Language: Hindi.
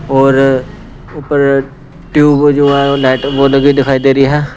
और ऊपर ट्यूब जो है लाइट वह लगी हुई दिखाई दे रही है।